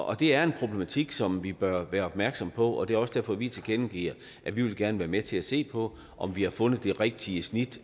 og det er en problematik som vi bør være opmærksomme på og det er også derfor vi tilkendegiver at vi gerne vil være med til at se på om vi har fundet det rigtige snit